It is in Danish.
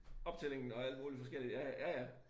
Optællingen og alt muligt forskelligt ja ja ja